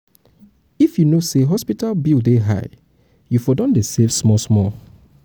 if um you know sey hospital bill dey high you um for don save small-small abi? save small-small abi?